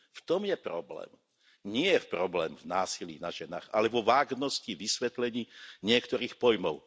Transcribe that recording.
V tom je problém. Nie je problém v násilí na ženách, ale vo vágnosti vysvetlení niektorých pojmov.